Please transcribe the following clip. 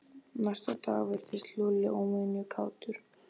Næsta dag virtist Lúlli óvenju kátur.